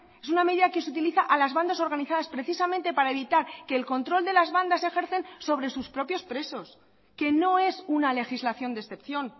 es una medida que se utiliza a las bandas organizadas precisamente para evitar que el control de las bandas ejercen sobre sus propios presos que no es una legislación de excepción